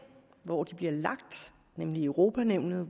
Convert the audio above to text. hvor de bliver lagt nemlig i europa nævnet